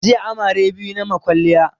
Jiya amare biyu nayi ma kwaliya